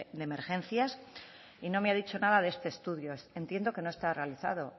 de emergencias y no me ha dicho nada de este estudio entiendo que no está realizado